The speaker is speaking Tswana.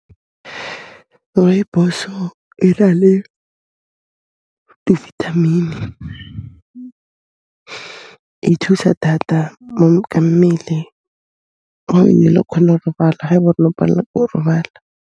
Rooibos-o e na le di vitamin-i, e thusa thata ka mmele, o kgona 'o robala ha ba ele ore no pallwa ko robala.